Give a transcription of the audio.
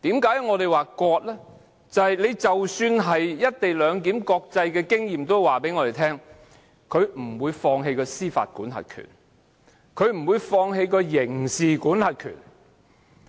因為根據國際經驗，即使是"一地兩檢"的模式，任何一方也不會放棄其司法管轄權或刑事管轄權。